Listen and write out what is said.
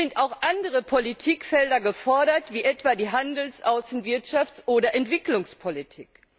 Hier sind auch andere Politikfelder gefordert, wie etwa die Handels Außen Wirtschafts oder Entwicklungspolitik.